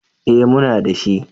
Eh muna dashi.